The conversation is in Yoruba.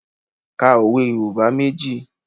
Ka òwe Yorùbá méjì